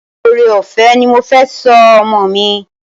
Ore-ọfẹ ní mọ fè sọ ọmọ mí.